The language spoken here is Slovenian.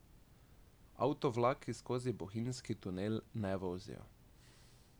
Avtovlaki skozi bohinjski tunel ne vozijo.